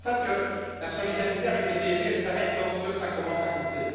Mais je constate que la solidarité avec les PME s'arrête lorsqu'elle commence à coûter.